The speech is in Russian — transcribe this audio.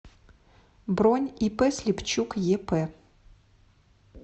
бронь ип слепчук еп